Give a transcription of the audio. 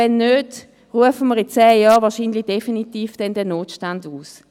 Wenn nicht, werden wir wohl in zehn Jahren definitiv den Notstand ausrufen.